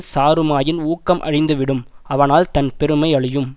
சாருமாயின் ஊக்கம் அழிந்து விடும் அவனால் தன் பெருமை அழியும்